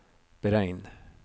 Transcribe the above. beregn